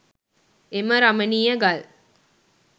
එම රමණීය ගල්